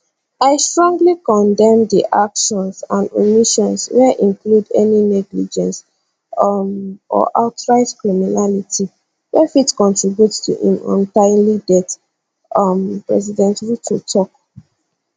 i strongly condemn di actions and omissions wey include any negligence um or outright criminality wey fit contribute to im untimely death um president ruto tok